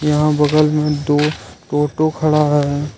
यहां बगल में दो टोटो खड़ा है।